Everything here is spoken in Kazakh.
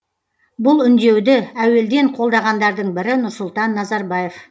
бұл үндеуді әуелден қолдағандардың бірі нұрсұлтан назарбаев